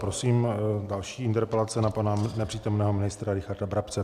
Prosím, další interpelace na pana nepřítomného ministra Richarda Brabce.